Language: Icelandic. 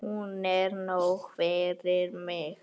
Hún er nóg fyrir mig.